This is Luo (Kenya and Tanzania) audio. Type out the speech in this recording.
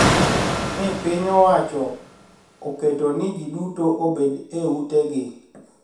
Ni piny owacho oketo ni ji duto obed e utegi